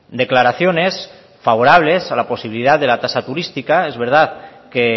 declaraciones favorables a la posibilidad de la tasa turística es verdad que